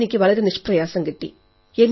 അതെനിക്ക് വളരെ നിഷ്പ്രയാസം കിട്ടി